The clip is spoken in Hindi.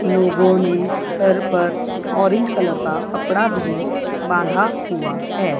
लोगों ने सर पर ऑरेंज कलर का कपड़ा भी बांधा हुआ है।